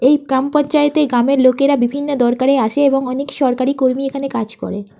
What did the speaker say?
এই কাম পঞ্চায়েতে গ্রামের লোকেরা বিভিন্ন দরকারে আসে এবং অনেক সরকারি কর্মী এখানে কাজ করে।